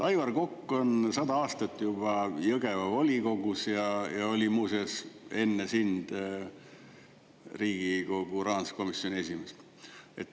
Aivar Kokk on sada aastat juba Jõgeva volikogus ja oli muuseas enne sind Riigikogu rahanduskomisjoni esimees.